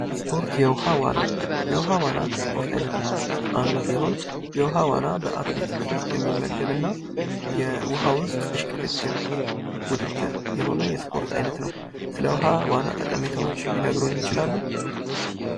ስፖርት የውሃ ዋና የውሃ ዋና ከስፖርት ዓይነቶች ውስጥ አንዱ ሲሆን ፤ የውሃ ዋና በአትሌቲክሱ ውስጥ የሚመደብ እና የውሃ ውስጥ እሽቅድድም ውድድር የሆነ የስፖርት አይነት ነው። ስለ ውሃ ዋና ጠቀሜታዎች ሊናገሩ ይችላሉ።